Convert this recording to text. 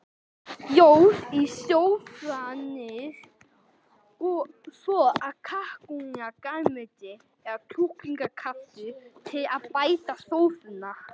Ljós sósujafnari, soð af kalkúna, grænmeti eða kjúklingakraftur til að bæta sósuna.